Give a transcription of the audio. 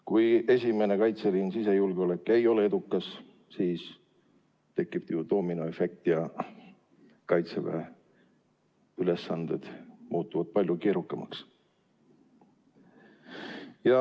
Kui esimene kaitseliin, sisejulgeolek, ei ole edukas, siis tekib doominoefekt ja Kaitseväe ülesanded muutuvad palju keerukamaks.